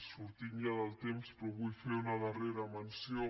sortint ja del temps però vull fer una darrera menció